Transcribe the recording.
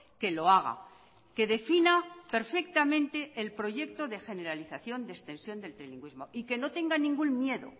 que lo haga que defina perfectamente el proyecto de generalización de extensión del trilingüismo y que no tenga ningún miedo